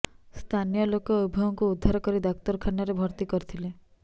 ସ୍ଥାନୀୟ ଲୋକ ଉଭୟଙ୍କୁ ଉଦ୍ଧାର କରି ଡାକ୍ତରଖାନାରେ ଭର୍ତ୍ତି କରିଥିଲେ